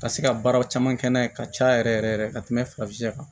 Ka se ka baaraw caman kɛ n'a ye ka caya yɛrɛ yɛrɛ ka tɛmɛ farafinya kan